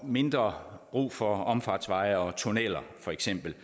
mindre brug for omfartsveje og tunneller for eksempel